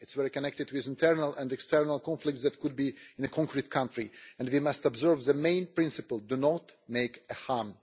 It is very connected with the internal and external conflicts that could happen in a concrete country, and we must observe the main principle do not do harm.